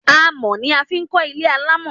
Àmọ́ ni a fi kò ilé alamọ